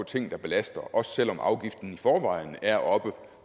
ting der belaster også selv om afgiften i forvejen er oppe